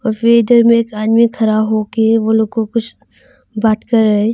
में एक आदमी खड़ा होके वो लोग को कुछ बात कर रा है।